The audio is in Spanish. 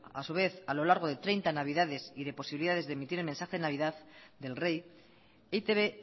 a su vez a lo largo de treinta navidades y de posibilidades de emitir el mensaje de navidad del rey e i te be